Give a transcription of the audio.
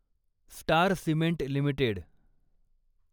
star cement limited